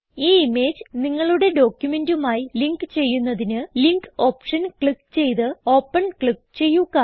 ഈ ഇമേജ് നിങ്ങളുടെ ഡോക്യുമെന്റുമായി ലിങ്ക് ചെയ്യുന്നതിന് ലിങ്ക് ഓപ്ഷൻ ചെക്ക് ചെയ്ത് ഓപ്പൻ ക്ലിക്ക് ചെയ്യുക